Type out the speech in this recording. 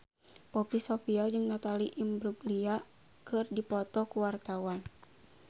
Poppy Sovia jeung Natalie Imbruglia keur dipoto ku wartawan